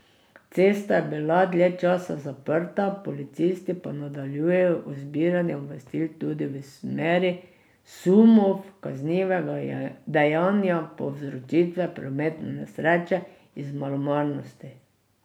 Cesta je bila dlje časa zaprta, policisti pa nadaljujejo z zbiranjem obvestil tudi v smeri sumov kaznivega dejanja povzročitve prometne nesreče iz malomarnosti.